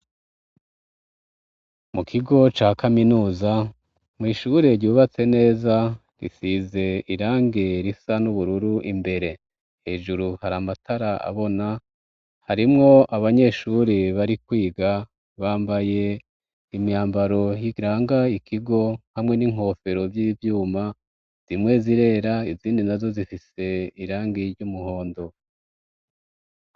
Mu kigo ca kaminuza mwishure ryubatse neza risize irange risa n'ubururu imbere hejuru hari amatara abona harimwo abanyeshuri bari kwiga bambaye imyambaro higranga ikigo hamwe n'inkofero vyivyuma zimwe zirera izindi na zo zifise irangiye iryo umuhondo.